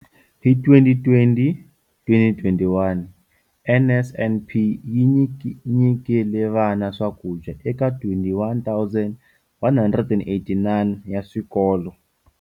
Hi 2020 - 2021, NSNP yi nyikile vana swakudya eka 21 189 wa swikolo.